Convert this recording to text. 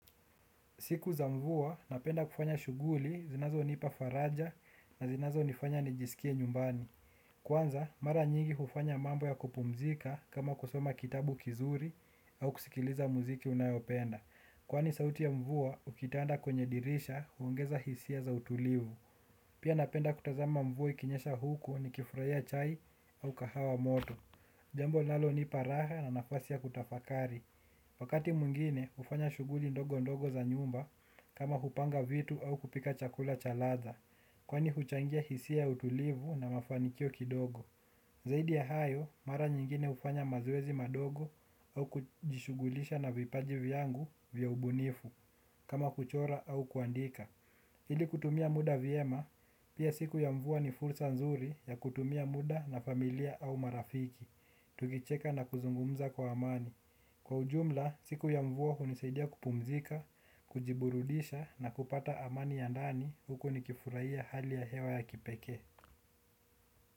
Siku za mvua, napenda kufanya shughuli zinazo nipa faraja na zinazo nifanya nijisikie nyumbani. Kwanza, mara nyingi hufanya mambo ya kupumzika kama kusoma kitabu kizuri au kusikiliza mziki ninayopenda. Kwani sauti ya mvua, ukitanda kwenye dirisha huongeza hisia za utulivu. Pia napenda kutazama mvua ikinyesha huku ni kifurahia chai au kahawa moto. Jambo linalo nipa raha na nafasi ya kutafakari. Wakati mwingine hufanya shuguli ndogo ndogo za nyumba kama kupanga vitu au kupika chakula cha ladha kwani huchangia hisia ya utulivu na mafanikio kidogo. Zaidi ya hayo mara nyingine hufanya mazoezi madogo au kujishughulisha na vipaji vyangu vya ubunifu kama kuchora au kuandika ili kutumia muda vyema pia siku ya mvua ni fursa nzuri ya kutumia muda na familia au marafiki. Tukicheka na kuzungumza kwa amani kwa ujumla, siku ya mvua nisaidia kupumzika, kujiburudisha na kupata amani ya ndani huko nikifurahia hali ya hewa ya kipeke.